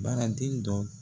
Baara den dɔ